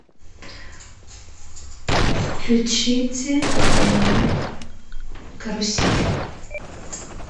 включите канал карусель